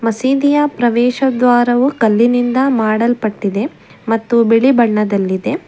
ಸೀದಿಯ ಪ್ರವೇಶ ದ್ವಾರವು ಕಲ್ಲಿನಿಂದ ಮಾಡಲ್ಪಟ್ಟಿದೆ ಮತ್ತು ಬಿಳಿ ಬಣ್ಣದಲ್ಲಿದೆ.